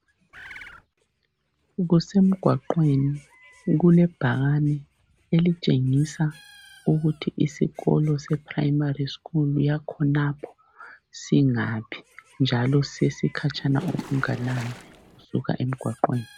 Kusemgwaqweni kulebhakane elitshengisa ukuthi isikolo se primary school yakhonapho singaphi njalo sesikhatshana okunganani usuka emgwaqweni.